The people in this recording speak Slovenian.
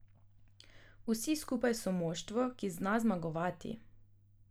Vsi skupaj so moštvo, ki zna zmagovati.